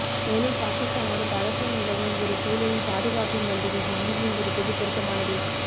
மேலும் பாகிஸ்தானோடு பதற்றம் நிலவும் ஒரு சூழலில் பாதுகாப்பு மந்திரி தில்லியில் இருப்பது பொருத்தமானதே